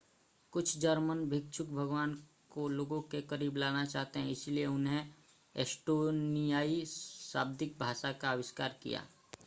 कुछ जर्मन भिक्षु भगवान को लोगों के करीब लाना चाहते हैं इसलिए उन्होंने एस्टोनियाई शाब्दिक भाषा का आविष्कार किया